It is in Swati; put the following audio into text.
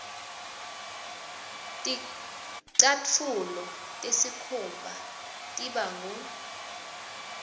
ticatfulo tesikhumba tiba ngur